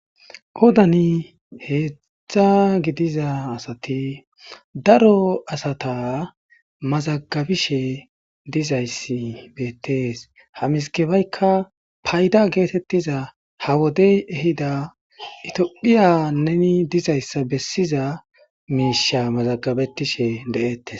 Qodአን heedzzzdza gidiza asati daro asata mazagabishe dizayssi beettees hamiskebeykka payda geetettiza ha wodey ehida itoqiya neni dizayssa bessiza miisha mazagabetishe de7ettes